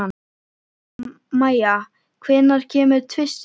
Mæja, hvenær kemur tvisturinn?